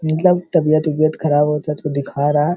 मतलब तबीयत वबीयत खराब होता है तो दिखा रहा --